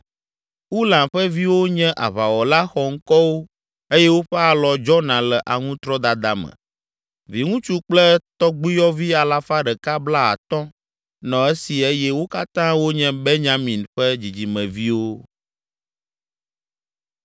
Ulam ƒe viwo nye aʋawɔla xɔŋkɔwo eye woƒe alɔ dzɔna le aŋutrɔdada me. Viŋutsu kple tɔgbuiyɔvi alafa ɖeka blaatɔ̃ (150) nɔ esi eye wo katã wonye Benyamin ƒe dzidzimeviwo.